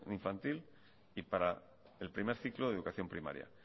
infantil y para el primer ciclo de educación primaria